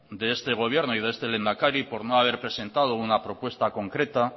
de este gobierno y de este lehendakari por no haber presentado una propuesta concreta